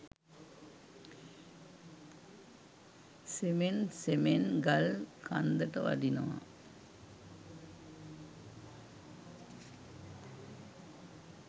සෙමෙන් සෙමෙන් ගල් කන්දට වඩිනවා.